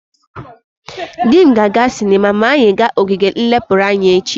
Di m ga-aga sinema ma anyi ga ogige nlepuru anya echi.